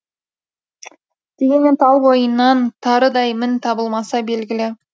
дегенмен тал бойынан тарыдай мін табылмасы белгілі